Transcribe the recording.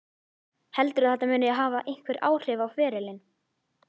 Heldurðu að þetta muni hafa einhver áhrif á ferilinn?